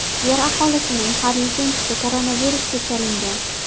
Yer aholisining har yuzinchisi koronavirusga chalingan.